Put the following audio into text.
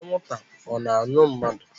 Anwụnta ọ na-aṅụ mmadu?